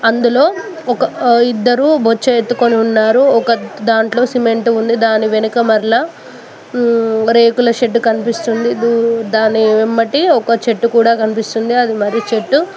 అందులో ఒక ఆ ఇద్దరు బొచ్చె ఎత్తుకొని ఉన్నారు. ఒక దాంట్లో సిమెంట్ ఉంది దాని వెనుక మర్లా మ్ రేకుల షెడ్డు కనిపిస్తుంది దూ దాని వెమ్మటి ఒక చెట్టు కూడా కన్పిస్తుంది అది మర్రి చెట్టు.